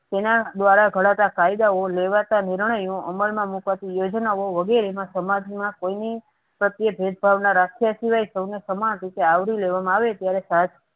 તેના દ્વારા ઘડાતા કાયદાઓ લેવાતા નિર્ણયો આમલમા મુકાતી યોજનાઓ વગેરે માં સમાજમાં કોઈની પ્રત્યે ભેદભાવના રાખીયા સિવાય સૌને સમાન રીતે આવરી લેવામાં આવે ત્યારે સાસ